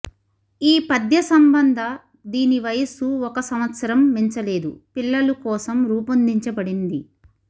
ఈ పథ్యసంబంధ దీని వయస్సు ఒక సంవత్సరం మించలేదు పిల్లలు కోసం రూపొందించబడింది